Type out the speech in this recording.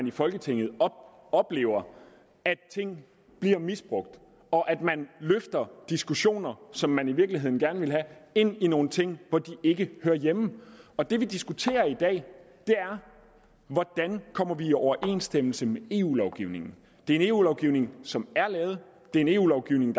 i folketinget oplever at ting bliver misbrugt og at man løfter diskussioner som man i virkeligheden gerne ville have ind i nogle ting hvor de ikke hører hjemme og det vi diskuterer i dag er hvordan vi kommer i overensstemmelse med eu lovgivningen det er en eu lovgivning som er lavet det er en eu lovgivning